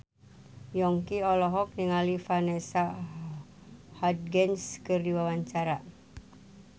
Yongki olohok ningali Vanessa Hudgens keur diwawancara